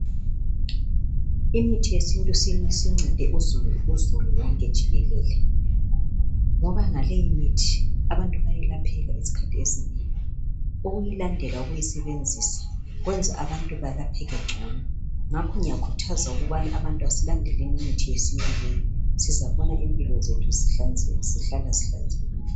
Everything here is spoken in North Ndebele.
Imithi yesintu sincede uzulu wonke jikelele ngoba ngaleyi mithi abantu bayelapheka izikhathi ezinengi ukuyilandela ukuyisebenzisa kwenza abantu belapheke ngcono ngakho ngiyakhuthaza ukubana abantu asilandeleni imithi yesintu leyi sizabona impilo zethu zihlala zihlanzekile.